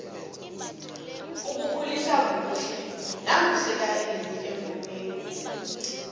ukukhulisa kuhle naku sekayile engomeni